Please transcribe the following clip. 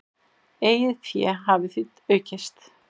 Eigið fé hafi því aukist.